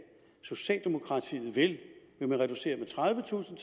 socialdemokratiet vil vil man reducere med tredivetusind